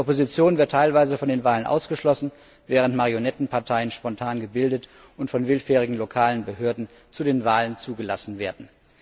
Die Opposition wird teilweise von den Wahlen ausgeschlossen, während Marionettenparteien spontan gebildet und von willfährigen lokalen Behörden zu den Wahlen zugelassen werden.